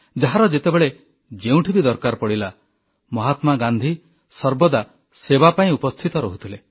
ଯାହାର ଯେତେବେଳେ ଯେଉଁଠି ବି ଦରକାର ପଡ଼ିଲା ମହାତ୍ମା ଗାନ୍ଧୀ ସର୍ବଦା ସେବା ପାଇଁ ଉପସ୍ଥିତ ରହୁଥିଲେ